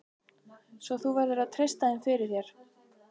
Svo þú verður að treysta þeim fyrir. þér.